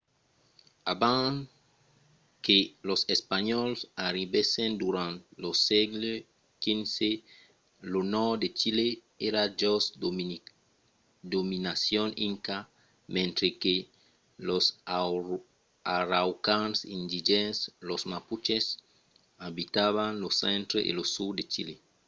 abans que los espanhòls arribèssen durant lo sègle xvi lo nòrd de chile èra jos dominacion inca mentre que los araucans indigèns los mapuches abitavan lo centre e lo sud de chile